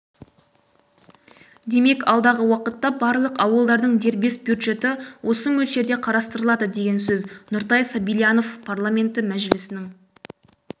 демек алдағы уақытта барлық ауылдардың дербес бюджеті осы мөлшерде қарастыралады деген сөз нұртай сабильянов парламенті мәжілісінің